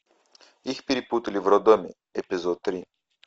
их перепутали в роддоме эпизод три